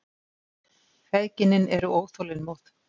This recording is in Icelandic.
Feðginin eru óþolinmóð.